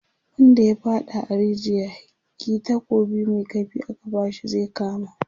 wanda ya faɗa a rijiya, kih takobi Mai kaifi aka bashi zai kama